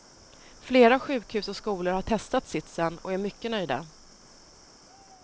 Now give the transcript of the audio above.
Flera sjukhus och skolor har testat sitsen och är mycket nöjda.